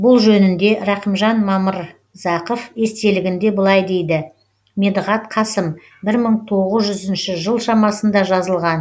бұл жөнінде рахымжан мамырзақов естелігінде былай дейді медіғат қасым бір мың тоғызыншы жыл шамасында жазылған